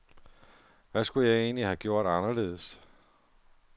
Hvad skulle jeg egentlig have gjort anderledes.